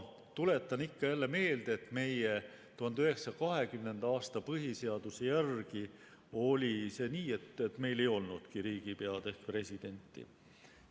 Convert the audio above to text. Tuletan ikka ja jälle meelde, et meie 1920. aasta põhiseaduse järgi oli nii, et meil ei olnudki riigipead ehk presidenti.